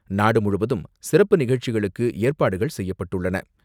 நாடுமுழுவதும் சிறப்பு நிகழ்ச்சிகளுக்கு ஏற்பாடுகள் செய்யப்பட்டுள்ளன.